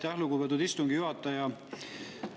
Aitäh, lugupeetud istungi juhataja!